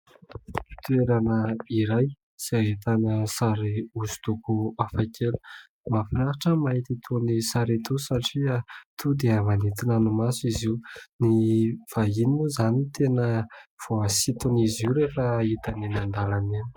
Toerana iray izay ahitana sary osidoko hafa kely. Mahafinaritra ny mahita itony sary itony satria tonga dia manintona ny maso izy io. Ny vahiny moa izany no tena voasiton'izy io rehefa hitany eny an-dalana eny.